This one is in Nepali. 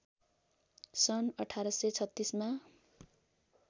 सन् १८३६ मा